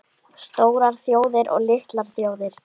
STÓRAR ÞJÓÐIR OG LITLAR ÞJÓÐIR